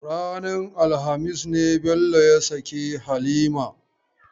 Ranar alhamis ne Bello ya sake Halima.